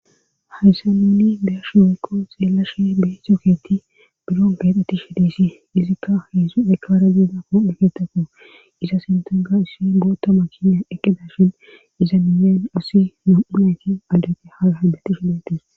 hayssaninni deyashi hoko xeelashe bee toketi biron keexeti shideesi izikka heesu ekaara deena hodheketaku iza sintanga issi boota makinya eqeda shin iza miyen asi nam7unaki aldage haala hidati shidetis